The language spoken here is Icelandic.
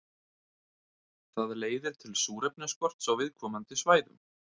Það leiðir til súrefnisskorts á viðkomandi svæðum.